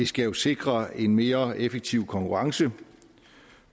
skal jo sikre en mere effektiv konkurrence